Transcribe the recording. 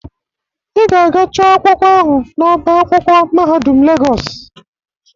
Ị ga-aga chọ akwụkwọ ahụ n'ọba akwụkwọ mahadum Legọs